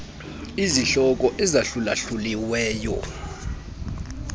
izihloko ezahlula hluliweyo